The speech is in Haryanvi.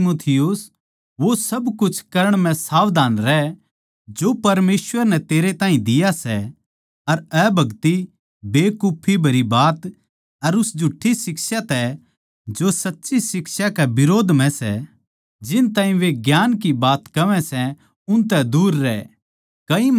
हे तीमुथियुस वो सब कुछ करण म्ह सावधान रह जो परमेसवर नै तेरे ताहीं दिया सै अर अभगति बेकुफी भरी बात अर उन झुठ्ठी शिक्षा तै जो सच्ची शिक्षा के बिरोध म्ह सै जिन ताहीं वे ज्ञान की बात बोल्लै सै उनतै दूर रह